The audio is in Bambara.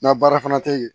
Na baara fana tɛ yen